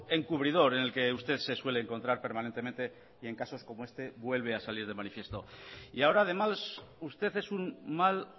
encubridor en el que usted se suele encontrar permanentemente y en casos como este vuelve a salir de manifiesto y ahora además usted es un mal